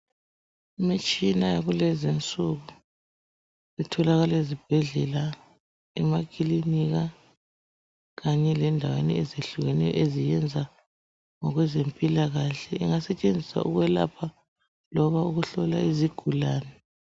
Imitshina yakulezi nsuku itholakala ezibhedlela, emakilinika kanye lendaweni ezehlukeneyo eziyenza ngokwezempilakahle. Ingasetshenziswa ukwelapha loba ukuhlola izigulane.